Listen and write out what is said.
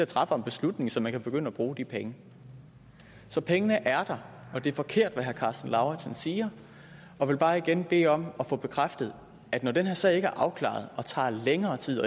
træffer en beslutning så de kan begynde at bruge de penge så pengene er der og det er forkert hvad herre karsten lauritzen siger jeg vil bare igen bede om at få bekræftet at når den her sag ikke er afklaret og tager længere tid